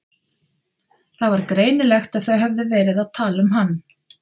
Það var greinilegt að þau höfðu verið að tala um hann.